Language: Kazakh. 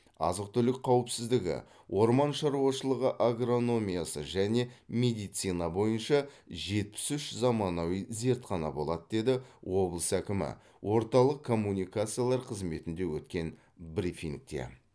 азық түлік қауіпсіздігі орман шаруашылығы агрономиясы және медицина бойынша жетпіс үш заманауи зертхана болады деді облыс әкімі орталық коммуникациялар қызметінде өткен брифингте